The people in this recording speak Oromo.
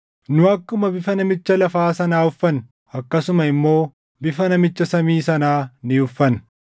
Nu akkuma bifa namicha lafaa sanaa uffanne, akkasuma immoo bifa namicha samii sanaa ni uffanna.